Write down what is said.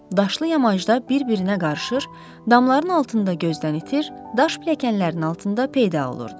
Daşlı yamacda bir-birinə qarışır, damların altında gözdən itir, daş pilləkənlərinin altında peyda olurdu.